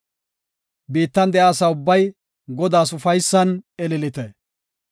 Biittan de7iya asa ubbay, Godaas ufaysan ililite.